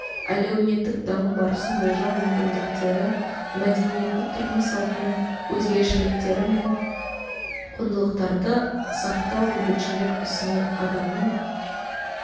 әлеуметтік даму барысын болжау мүмкіндіктері мәдениетті тұрмыс салтынының өзгешеліктері мен құндылықтарды сақтау бейбітшілік ісіне адамның